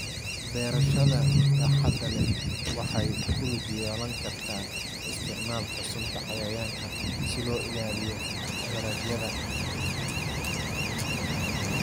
Beerashada baaxadda leh waxay ku lug yeelan kartaa isticmaalka sunta cayayaanka si loo ilaaliyo dalagyada.